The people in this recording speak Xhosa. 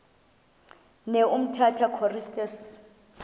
ne umtata choristers